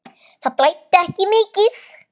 Það blæddi ekki mikið.